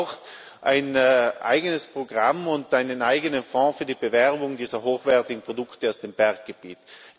Und es braucht ein eigenes Programm und einen eigenen Fonds für die Bewerbung dieser hochwertigen Produkte aus dem Berggebiet.